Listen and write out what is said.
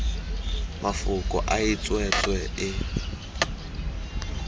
mafoko a e tswetswe e